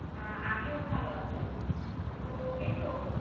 আহ আমিও ভালো আছি তো এই তো